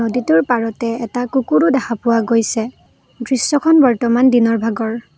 গেটৰ পাৰতে এটা কুকুৰো দেখা পোৱা গৈছে দৃশ্যখন বৰ্তমান দিনৰভাগৰ।